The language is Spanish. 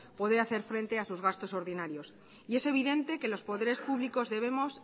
poder hacer frente a sus gastos ordinarios y es evidente que los poderes públicos debemos